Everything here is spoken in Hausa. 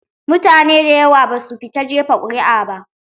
Mutane da yawa basu fita jefa ƙuri'a ba